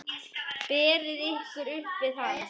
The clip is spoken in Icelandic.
Berið ykkur upp við hann!